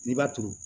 N'i b'a turu